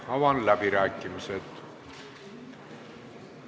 Avan läbirääkimised.